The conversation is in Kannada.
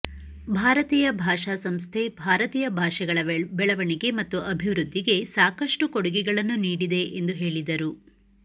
ಭಾರತೀಯ ಭಾಷಾ ಸಂಸ್ಥೆ ಭಾರತೀಯ ಭಾಷೆಗಳ ಬೆಳವಣಿಗೆ ಮತ್ತು ಅಭಿವೃದ್ದಿಗೆ ಸಾಕಷ್ಟು ಕೊಡುಗೆಗಳನ್ನು ನೀಡಿದೆ ಎಂದು ಹೇಳಿದರು